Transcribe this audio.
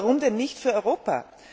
Warum denn nicht für Europa?